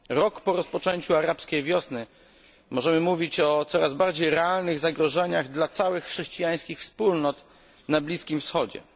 Rok po rozpoczęciu Arabskiej Wiosny możemy mówić o coraz bardziej realnych zagrożeniach dla całych chrześcijańskich wspólnot na Bliskim Wschodzie.